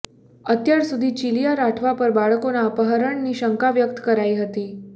અત્યાર સુધી ચીલીયા રાઠવા પર બાળકોના અપહરણની શંકા વ્યક્ત કરાઈ હતી